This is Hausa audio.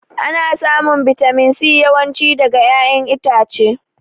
Ana samun bitamin C yawan ci daga ƴaƴan itace